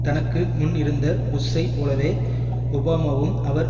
தனக்கு முன் இருந்த புஷ்ஷை போலவே ஒபாமாவும் அவர்